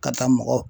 Ka taa mɔgɔ